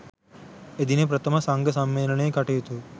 එදින ප්‍රථම සංඝ සම්මේලනයේ කටයුතු